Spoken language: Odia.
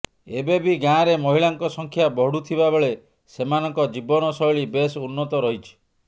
ଏବେ ବି ଗାଁରେ ମହିଳାଙ୍କ ସଂଖ୍ୟା ବଢୁଥିବାବେଳେ ସେମାନଙ୍କ ଜୀବନଶୈଳୀ ବେଶ ଉନ୍ନତ ରହିଛି